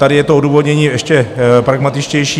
Tady je to odůvodnění ještě pragmatičtější.